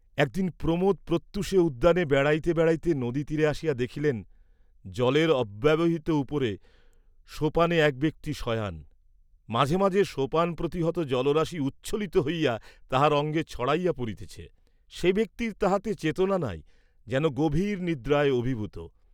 একদিন প্রমোদ প্রত্যূষে উদ্যানে বেড়াইতে বেড়াইতে নদী তীরে আসিয়া দেখিলেন, জলের অব্যবহিত উপরে, সোপানে এক ব্যক্তি শয়ান, মাঝে মাঝে সোপানপ্রতিহত জলরাশি উচ্ছ্বলিত হইয়া তাহার অঙ্গে ছড়াইয়া পড়িতেছে, সে ব্যক্তির তাহাতে চেতনা নাই যেন গভীর নিদ্রায় অভিভূত।